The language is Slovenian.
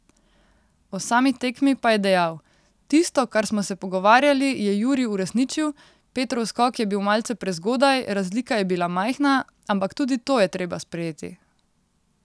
O sami tekmi pa je dejal: 'Tisto, kar smo se pogovarjali, je Jurij uresničil, Petrov skok je bil malce prezgodaj, razlika je bila majhna, ampak tudi to je treba sprejeti.